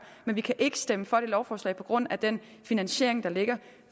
men vi kan ikke stemme for dette lovforslag på grund af den finansiering der ligger